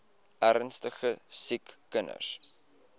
ernstige siek kinders